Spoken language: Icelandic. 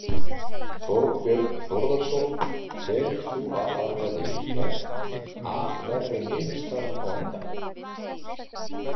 Þorbjörn Þórðarson: Telur þú að það verði líklegt að verði niðurstaðan á endanum?